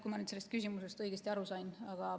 Kui ma küsimusest õigesti aru sain.